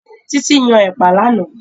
Títí yan Ẹ̀pà lánàá